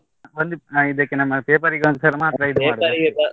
ಇದಕ್ಕೆ ನಮ್ಮ paper .